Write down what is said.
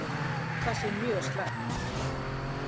Það sé mjög slæmt.